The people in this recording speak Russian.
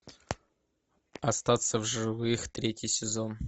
остаться в живых третий сезон